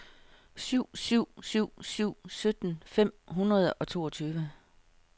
syv syv syv syv sytten fem hundrede og toogtyve